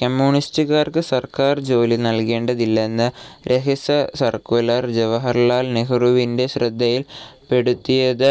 കമ്മ്യൂണിസ്റ്റ്കാർക്ക് സർക്കാർജോലി നൽകേണ്ടതില്ലെന്ന രഹസ്യസർക്കുലർ ജവാഹർലാൽ നെഹ്‌റുവിന്റെ ശ്രദ്ധയിൽപ്പെടുത്തിയത്